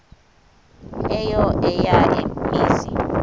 eyo eya mizi